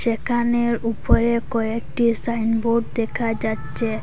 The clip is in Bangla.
যেকানের উপরে কয়েকটি সাইন বোর্ড দেখা যাচ্ছে।